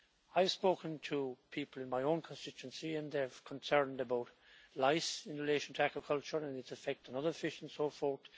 I've spoken to people in my own constituency and they're concerned about lice in relation to aquaculture and its effect on other fish and so forth.